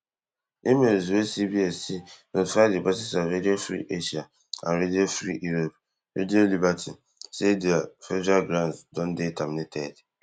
emails wey CBS see notify di bosses of radio free asia and radio free europe radio liberty say dia federal grants don dey terminated